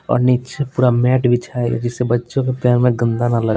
और नीचे पूरा मैट बिछाए जिससे बच्चों के पैर में गंदा ना लगे--